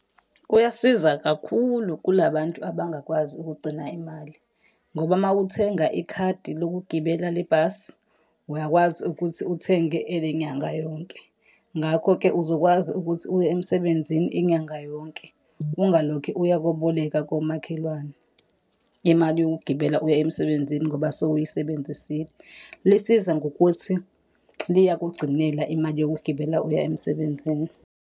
Kuyasiza kakhulu kula bantu abangakwazi ukugcina imali. Ngoba uma uthenga ikhadi lokugibela le bhasi, uyakwazi ukuthi uthenge ele nyanga yonke. Ngakho-ke uzokwazi ukuthi uye emsebenzini inyanga yonke, ungalokhe uya koboleka komakhelwane. Imali yokugibela uya emsebenzini ngoba sewuyisebenzisile. Lisiza ngokuthi liyakugcinela imali yokugibela uya emsebenzini.